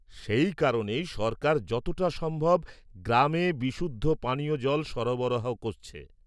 -সেই কারণেই সরকার যতটা সম্ভব গ্রামে বিশুদ্ধ পানীয় জল সরবরাহ করছে।